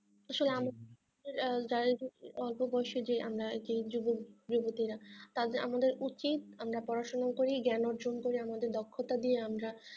আসলে যারাই হচ্ছে অল্প বয়সের যে আমরা আর কি যুবক যুবতী রা তাদের আমাদের উচিত আমরা পড়াশোনা করি জ্ঞান অর্জন করি আমাদের দক্ষতা দিয়ে আমরা